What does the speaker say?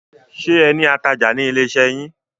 Ṣé ẹ ní atajà ní ilé iṣẹ́ yín?